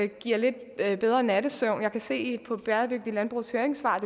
giver lidt bedre nattesøvn jeg kan se på bæredygtigt landbrugs høringssvar at